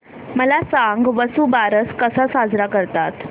मला सांग वसुबारस कसा साजरा करतात